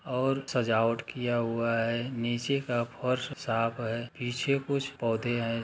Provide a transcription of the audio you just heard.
और सजावट किया हुआ है नीचे का फ़र्श साफ है पीछे कुछ पौधे है।